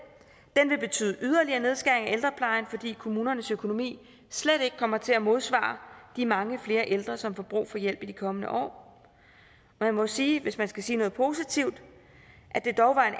den vil betyde yderligere nedskæring af ældreplejen fordi kommunernes økonomi slet ikke kommer til at modsvare de mange flere ældre som får brug for hjælp i de kommende år jeg må sige hvis jeg skal sige noget positivt at det dog var en